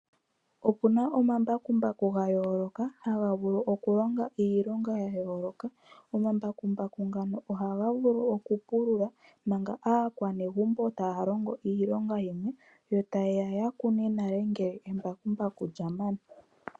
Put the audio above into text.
Opuna omambakumbaku gayooloka, haga vulu okulonga iilonga ya yooloka. Omambakumbaku ngano ohaga vulu okupulula, manga aakwanezimo taya longo iilonga yimwe, yo tayeya yakune nale ngele embakumbaku lyamana.